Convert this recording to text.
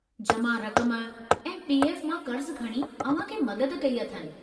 जमा रकम ऐं पी. एफ मां कर्जु खणी अव्हां खे मदद कई अथनि।